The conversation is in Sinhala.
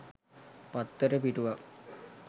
පත්තර පිටුවක්